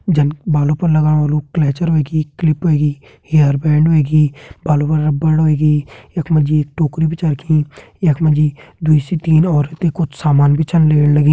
जन बालों पर लागण वालू क्लचर हुयेगी क्लिप हुयेगी हेयरबैंड हुयेगी बालू का रबर हुयेगी यखमा जी टोकरी भी छा रखीं यखमा जी दुइ से तीन औरते कुछ सामान छा लेण लगीं।